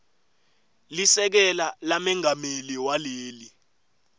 lisekela lamengameli waleli